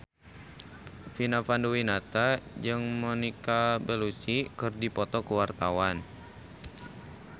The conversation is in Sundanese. Vina Panduwinata jeung Monica Belluci keur dipoto ku wartawan